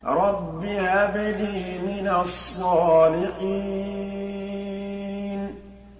رَبِّ هَبْ لِي مِنَ الصَّالِحِينَ